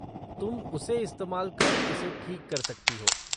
तुम उसे इस्तेमाल कर इसे ठीक कर सकती हो।